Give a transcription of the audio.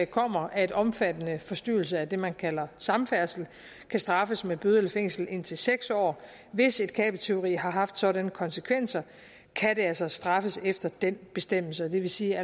kommer at omfattende forstyrrelse af det man kalder samfærdsel kan straffes med bøde eller fængsel i indtil seks år hvis et kabeltyveri har haft sådanne konsekvenser kan det altså straffes efter den bestemmelse det vil sige at